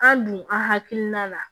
An dun an hakilina na